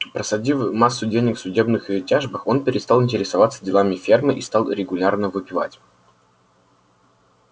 просадив массу денег в судебных тяжбах он перестал интересоваться делами фермы и стал регулярно выпивать